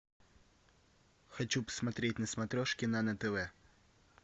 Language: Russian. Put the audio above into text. хочу посмотреть на смотрешке нано тв